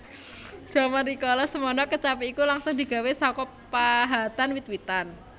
Jaman rikala semana kecapi iku langsung digawé saka pahatan wit witan